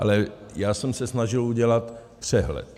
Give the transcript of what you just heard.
Ale já jsem se snažil udělat přehled.